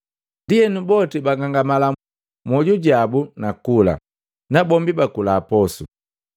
Ndienu boti bagangamala mwoju jabu na kula, na bombi bakula posu.